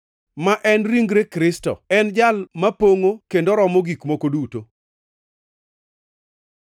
ma en ringre Kristo. En e Jal mapongʼo kendo romo gik moko duto.